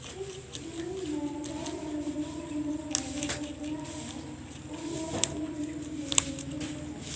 इस रूम में बेड पे दो पिलो है दो तकिया है और बेड पे भी कुछ डेकोरेशन है।